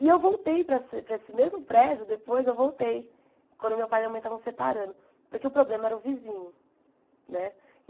E eu voltei para essa para esse mesmo prédio, depois eu voltei, quando meu pai e minha mãe estavam separando, porque o problema era o vizinho, né?